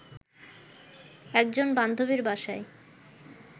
একজন বান্ধবীর বাসায়